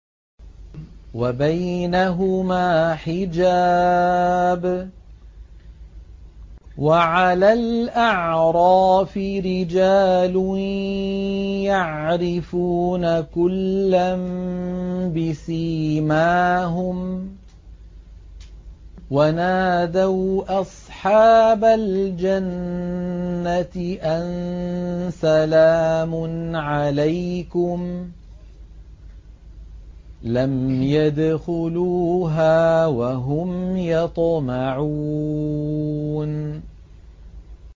وَبَيْنَهُمَا حِجَابٌ ۚ وَعَلَى الْأَعْرَافِ رِجَالٌ يَعْرِفُونَ كُلًّا بِسِيمَاهُمْ ۚ وَنَادَوْا أَصْحَابَ الْجَنَّةِ أَن سَلَامٌ عَلَيْكُمْ ۚ لَمْ يَدْخُلُوهَا وَهُمْ يَطْمَعُونَ